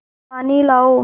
पानी लाओ